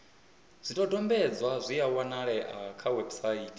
zwidodombedzwa zwi a wanalea kha website